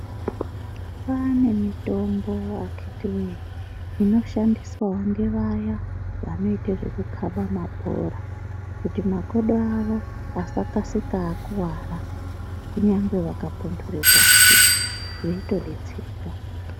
Kwaane mitombo akhiti woye inoshandiswawo ngevaya vanoita zvekukhaba mabhora kuti makodo avo vasakasika akuwara kunyangwe vakapuntura pashi veitodetsereka.